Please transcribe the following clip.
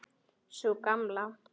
Sú gamla?